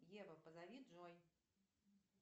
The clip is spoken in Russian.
ева позови джой